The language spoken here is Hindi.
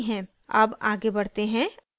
अब आगे बढ़ते हैं